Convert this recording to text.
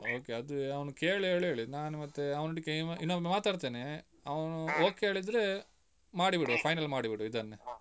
Okay ಅದು ಅವ್ನು ಕೇಳಿ ಹೇಳು ಹೇಳಿದ್ದು ನಾನು ಮತ್ತೆ ಅವನೊಟ್ಟಿಗೆ ಇನ್ನೊಮ್ಮೆ ಮಾತಾಡುತ್ತೇನೆ, ಅವನು okay ಹೇಳಿದ್ರೆ ಮಾಡಿ ಬಿಡುವ final ಮಾಡಿಬಿಡುವ ಇದನ್ನೆ.